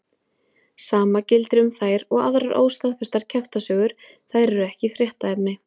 Sama gildir um þær og aðrar óstaðfestar kjaftasögur, þær eru ekki fréttaefni.